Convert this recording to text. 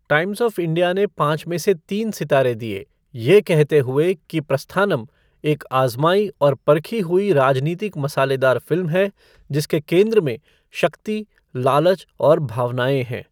Times of India ने पाँच में से तीन सितारे दिए, यह कहते हुए कि प्रस्थानम एक आज़माई और परखी हुई राजनीतिक मसालेदार फ़िल्म है जिसके केंद्र में शक्ति, लालच और भावनाएँ हैं।